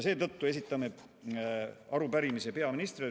Seetõttu esitame arupärimise peaministrile.